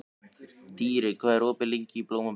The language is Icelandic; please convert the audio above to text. Dýri, hvað er opið lengi í Blómabrekku?